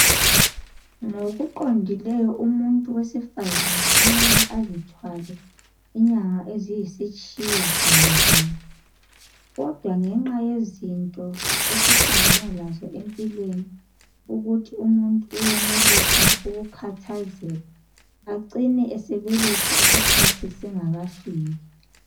Ngokuqondileyo umuntu owesifazana kumele azithwale inyanga eziyisitshiyagalo lunye kodwangexa yezinto esihlangana lazo empilweni ukuthi umuntu uyenelisa ukukhathazeka acina esebeletha isikhathi singakafiki.